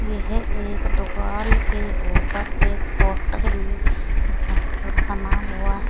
यह एक दुकाल के ऊपर एक पोस्टर भी बना हुआ है।